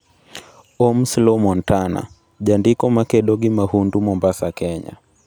Ohms Law Montana: Jandiko ma kedo gi mahundu Mombasa Kenya